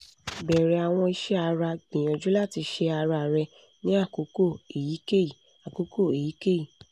bẹrẹ awọn iṣẹ ara gbiyanju lati ṣe ara rẹ ni akoko eyikeyi akoko eyikeyi